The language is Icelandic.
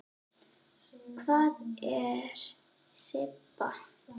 Hvar er Sibba?